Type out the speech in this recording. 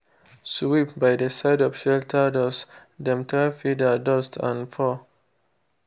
sweep by dey side of shelter doors_dem trap feather dust and fur.